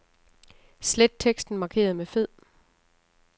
Slet teksten markeret med fed.